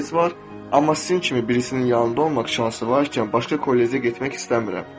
amma sizin kimi birisinin yanında olmaq şansı varkən başqa kollecdə getmək istəmirəm.